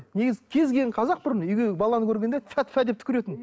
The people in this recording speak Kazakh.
негізі кез келген қазақ бұрын үйге баланы көргенде тфә тфә деп түкіретін